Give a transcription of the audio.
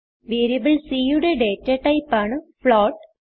variable c യുടെ data type ആണ് float